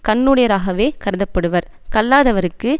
கண்ணுடையராகவே கருதப்படுவார் கல்லாதவருக்கு